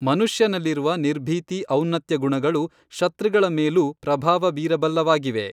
ಮನುಷ್ಯನಲ್ಲಿರುವ ನಿರ್ಭೀತಿ ಔನ್ನತ್ಯಗುಣಗಳು ಶತೃಗಳ ಮೇಲೂ ಪ್ರಭಾವ ಬೀರಬಲ್ಲವಾಗಿವೆ